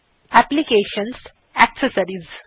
application gt accessories